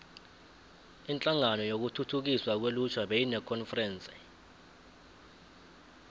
inhlangano yokuthuthukiswa kwelutjha beyinekonferense